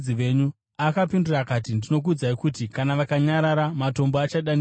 Akapindura akati, “Ndinokuudzai kuti, kana vakanyarara, matombo achadanidzira.”